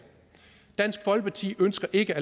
dansk folkeparti ønsker ikke at